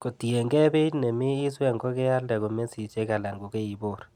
Kotienkei beit nemi iswe nkokealde ko komesisiek alan kokeibor.